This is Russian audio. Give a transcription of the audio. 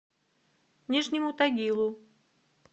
нижнему тагилу